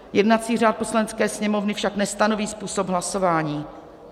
Jednací řád Poslanecké sněmovny však nestanoví způsob hlasování.